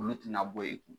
Olu tɛna bɔ e kun